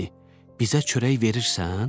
Bizə çörək verirsən?